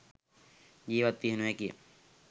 ජීවත් විය නොහැකිය.